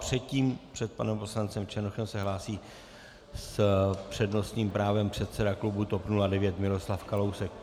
Předtím, před panem poslancem Černochem, se hlásí s přednostním právem předseda klubu TOP 09 Miroslav Kalousek.